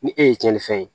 Ni e ye cɛni fɛn ye